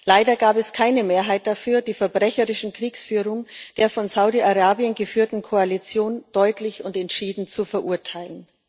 Leider gab es keine Mehrheit dafür, die verbrecherische Kriegsführung der von Saudi Arabien geführten Koalition deutlich und entschieden zu verurteilen.